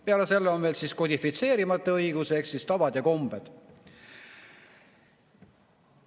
Peale selle on veel kodifitseerimata õigus ehk siis tavad ja kombed.